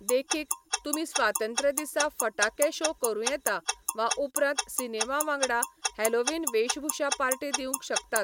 देखीक, तुमी स्वातंत्र्य दिसा फटाके शो करूं येता वा उपरांत सिनेमा वांगडा हॅलोवीन वेशभूषा पार्टी दिवंक शकतात.